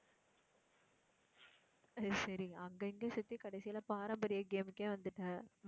அது சரி அங்கங்க சுத்தி கடைசியில பாரம்பரிய game உக்கே வந்துட்ட.